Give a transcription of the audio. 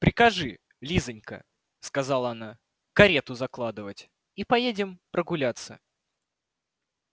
прикажи лизанька сказала она карету закладывать и поедем прогуляться